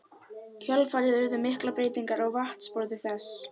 kjölfarið urðu miklar breytingar á vatnsborði þess.